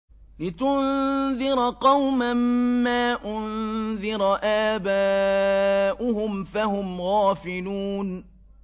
لِتُنذِرَ قَوْمًا مَّا أُنذِرَ آبَاؤُهُمْ فَهُمْ غَافِلُونَ